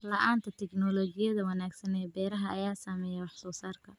La'aanta tignoolajiyada wanaagsan ee beeraha ayaa saameeya wax soo saarka.